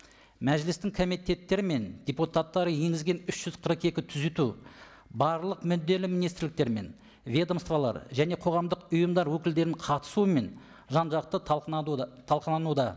мәжілістің комитеттері мен депутаттары енгізген үш жүз қырық екі түзету барлық мүдделі министрліктер мен ведомстволар және қоғамдық ұйымдар өкілдерінің қатысуымен жан жақты талқылануда